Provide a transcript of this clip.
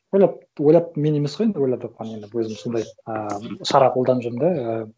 ойлап мен емес қой енді ойлап тапқан енді өзім сондай ыыы шара қолданып жүрмін да ы